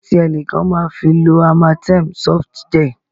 Kí ló dé tí ẹnìkan máa fi lo Amatem Softgel?